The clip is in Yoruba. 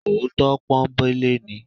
Òótọ́ pọ́nńbélé ni.